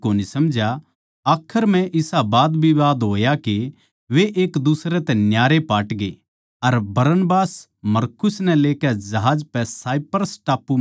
आखर म्ह इसा बादविवाद होया के वे एकदुसरे तै न्यारे पाटगे अर बरनबास मरकुस नै लेकै जहाज पै साइप्रस टापू चल्या गया